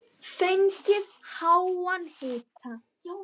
Fengið háan hita.